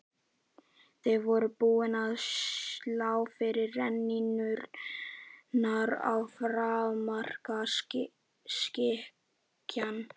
Þeir voru búnir að slá fyrstu rennurnar og afmarka skikann.